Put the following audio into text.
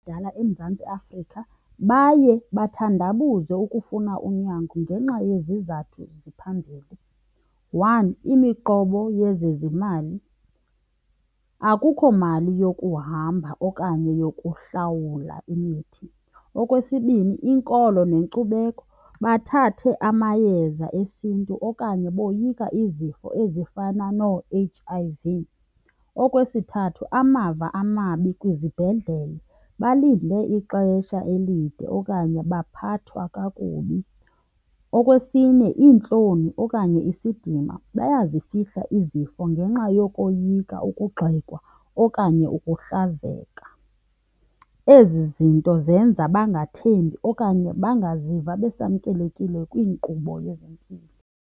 eMzantsi Afrika baye bathandabuze ukufuna unyango ngenxa yezizathu ziphambili. One, imiqobo yezezimali, akukho mali yokuhamba okanye yokuhlawula imithi. Okwesibini, inkolo nenkcubeko, bathathe amayeza esiNtu okanye boyika izifo ezifana noo-H_I_V. Okwesithathu, amava amabi kwizibhedlele, balinde ixesha elide okanye baphathwa kakubi. Okwesine, iintloni okanye isidima, bayazifihla izifo ngenxa yokoyika ukugxekwa okanye ukuhlazeka. Ezi zinto zenza bangathembi okanye bangaziva besamkelekile kwinkqubo yezempilo.